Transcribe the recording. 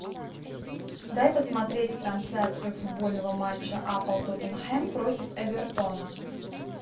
дай посмотреть трансляцию футбольного матча апл тоттенхэм против эвертона